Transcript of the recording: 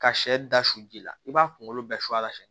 Ka sɛ da su ji la i b'a kunkolo bɛɛ su a la